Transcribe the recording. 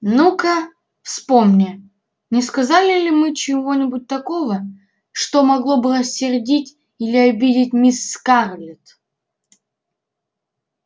ну-ка вспомни не сказали ли мы чего-нибудь такого что могло бы рассердить или обидеть мисс скарлетт